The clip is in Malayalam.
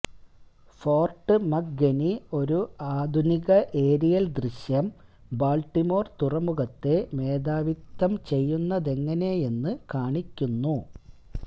ഫോർട്ട് മക്ഹെനി ഒരു ആധുനിക ഏരിയൽ ദൃശ്യം ബാൾട്ടിമോർ തുറമുഖത്തെ മേധാവിത്തം ചെയ്യുന്നതെങ്ങനെയെന്ന് കാണിക്കുന്നു